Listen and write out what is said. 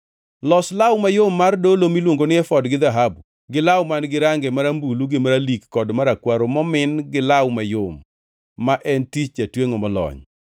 “Los law mayom mar dolo miluongo ni efod gi dhahabu, gi law man-gi range marambulu gi maralik kod marakwaro momin gi law mayom, ma en tich jatwengʼo molony.